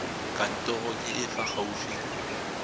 kantorong e e fa gaufi